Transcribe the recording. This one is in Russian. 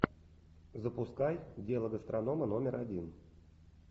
запускай дело гастронома номер один